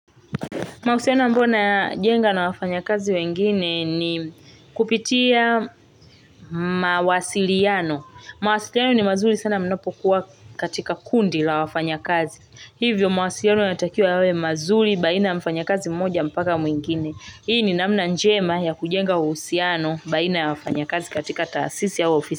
Mahusiano ambayo najenga na wafanyakazi wengine ni, kupitia, mawasiliano. Mawasiliano ni mazuri sana mnapokuwa katika kundi la wafanya kazi. Hivyo mawasiliano yana takiwa yawe mazuri baina mfanya kazi mmoja mpaka mwingine. Hii ni namna njema ya kujenga uhusiano baina ya wafanya kazi katika taasisi au ofisi.